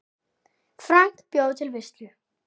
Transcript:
Frank bjóða til veislu.